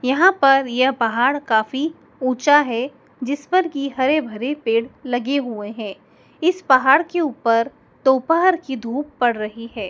यहाँ पर यह पहाड़ काफी ऊँचा है जिस पर की हरे-भरे पेड़ लगे हुए हैं इस पहाड़ के ऊपर दोपहर की धूप पड़ रही है।